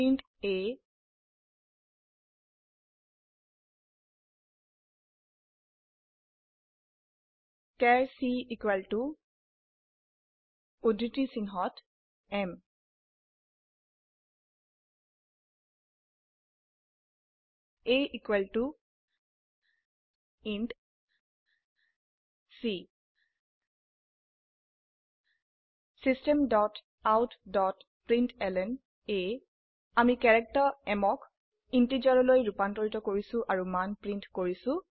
int a char c equal to উদ্ধৃতি চিনহত m a equal to c system dot out dot println আমি character m ক ইন্টিজাৰলৈ ৰুপান্তৰিত কৰিছি আৰু মান প্ৰিন্ট কৰিছো